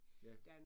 Ja